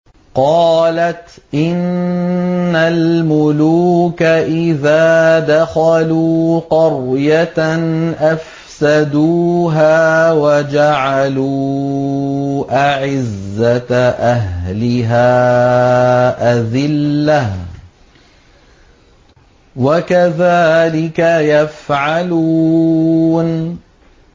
قَالَتْ إِنَّ الْمُلُوكَ إِذَا دَخَلُوا قَرْيَةً أَفْسَدُوهَا وَجَعَلُوا أَعِزَّةَ أَهْلِهَا أَذِلَّةً ۖ وَكَذَٰلِكَ يَفْعَلُونَ